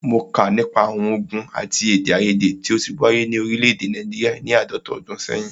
Mó kà nípa àwọn ògùn àti èdèaiyèdè tí o ti wáyé ni òrílẹ̀ èdè Nàìjíríà ni àádọ́ta ọdún sẹ́yìn.